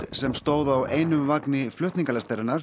sem stóð á einum vagni